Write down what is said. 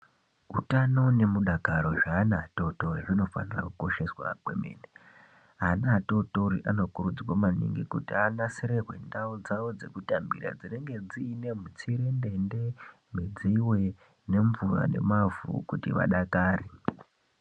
Utano nemudakaro zveana atitori zvinofana kukosheswa kwemene, ana atotori anokurudzwe maningi kuti anasirirwe ndau dzavo dzekutambira dzinenge dzine mitserendende, midziyo, nemvura nemavhu kuti vadakare.